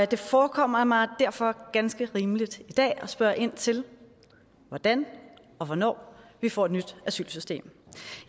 det forekommer mig derfor ganske rimeligt i dag at spørge ind til hvordan og hvornår vi får et nyt asylsystem